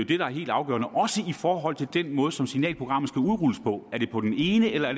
det der er helt afgørende også i forhold til den måde som signalprogrammet skal udrulles på er det på den ene eller